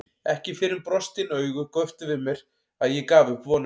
Ekki fyrr en brostin augu göptu við mér að ég gaf upp vonina.